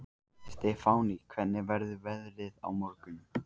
Stefánný, hvernig verður veðrið á morgun?